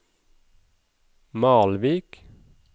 Malvik